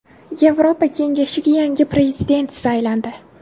Yevropa Kengashiga yangi prezident saylandi.